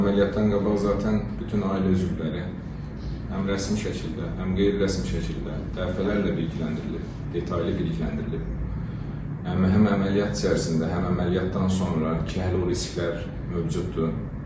Və əməliyyatdan qabaq zatən bütün ailə üzvləri həm rəsmi şəkildə, həm qeyri-rəsmi şəkildə dəfələrlə bilgiləndirilib, detallı bilgiləndirilib, həm əməliyyat içərisində, həm əməliyyatdan sonra ki, hələ o risklər mövcuddur.